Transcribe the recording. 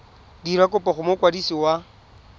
dira kopo go mokwadisi wa